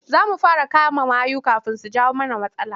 Za mu fara kama mayu kafin su jawo mana matsala.